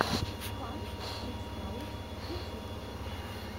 фан кидс хаус ютьюб